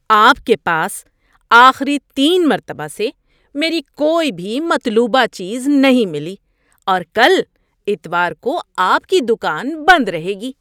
آپ کے پاس آخری تین مرتبہ سے میری کوئی بھی مطلوبہ چیز نہیں ملی اور کل اتوار کو آپ کی دکان بند رہے گی۔